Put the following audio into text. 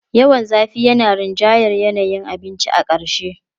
Yawan zafi yana rinjayar yanayin abincin a ƙarshe.